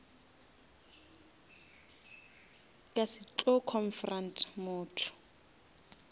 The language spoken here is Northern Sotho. ka se tlo confront motho